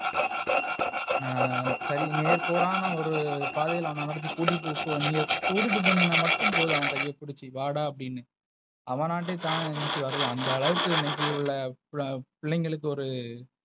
நான் சரி மேற்கோள் ஆனா ஒரு பாதைல அவன கூட்டிட்டு, நீங்க கூட்டிட்டு போனீங்கன்னா மட்டும் போது அவ கைய புடுச்சி வாடா அப்டினு. அவநண்டே தானா ஏஞ்சி வருவா. அந்த அளவுக்கு இன்னைக்கு உள்ள பிள்ளைகளுக்கு ஒரு.